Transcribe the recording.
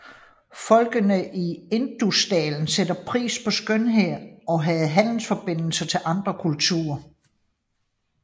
Folkene i Indusdalen satte pris på skønhed og havde handelsforbindelser til andre kulturer